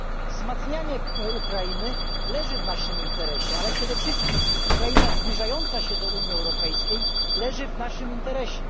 Wzmacnianie Ukrainy leży w naszym interesie, ale przede wszystkim Ukraina zbliżająca się do Unii Europejskiej leży w naszym interesie.